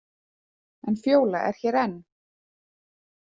En Fjóla er hér enn.